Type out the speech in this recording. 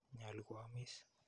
Nyalu ko amis.